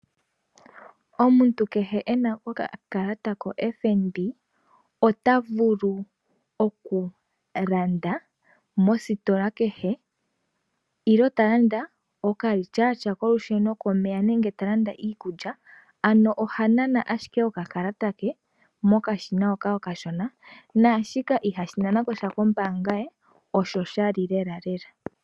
Omuntu kehe ena okakalata koFNB otavulu okulanda mositola kehe nenge talandaokalityatya kolusheno, komeya nenge talanda iikulya ano ohanana ashike okakalata ke mokashina hoka okashona naashika ihashi nana kosha kombanga ye osho shali lelalela.